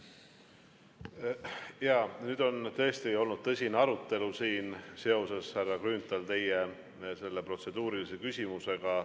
Jaa, nüüd on tõesti olnud tõsine arutelu siin, härra Grünthal, seoses teie protseduurilise küsimusega.